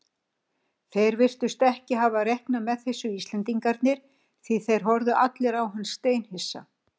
Þeir virtust ekki hafa reiknað með þessu Íslendingarnir því þeir horfðu allir á hann steinhissa.